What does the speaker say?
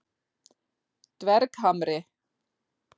Dverghamri